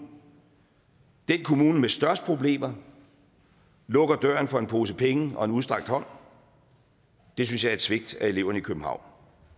den kommune med størst problemer lukker døren for en pose penge og en udstrakt hånd det synes jeg er et svigt af eleverne i københavn